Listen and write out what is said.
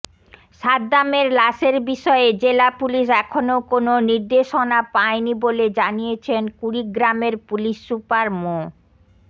সাদ্দামের লাশের বিষয়ে জেলা পুলিশ এখনও কোনো নির্দেশনা পায়নি বলে জানিয়েছেন কুড়িগ্রামের পুলিশ সুপার মো